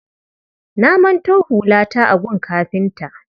Na manto hulata a gun kafinta.